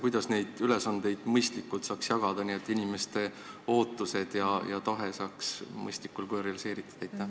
Kuidas saaks neid ülesandeid jagada nii, et inimeste ootused ja tahe saaks mõistlikul kujul realiseeritud?